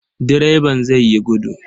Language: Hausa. Direban zai yi gudu.